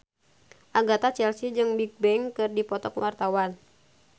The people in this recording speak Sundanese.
Agatha Chelsea jeung Bigbang keur dipoto ku wartawan